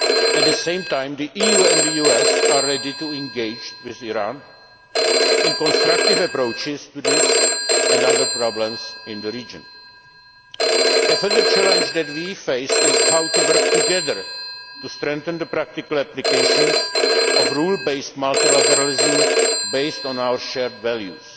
mechanisms. At the same time the EU and the US are ready to engage with Iran in constructive approaches to this and other problems in the region. A further challenge that we face is how to work together to strengthen the practical applications of rules based multilateralism based on our